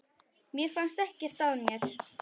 Mér fannst ekkert að mér.